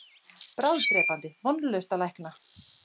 Bráðdrepandi, vonlaust að lækna.